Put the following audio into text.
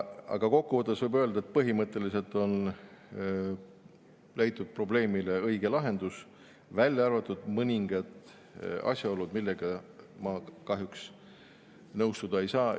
Aga kokku võttes võib öelda, et põhimõtteliselt on leitud probleemile õige lahendus, välja arvatud mõningad asjaolud, millega ma kahjuks nõustuda ei saa.